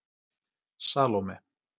Salóme